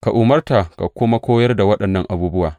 Ka umarta ka kuma koyar da waɗannan abubuwa.